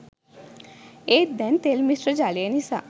ඒත් දැන් තෙල් මිශ්‍ර ජලය නිසා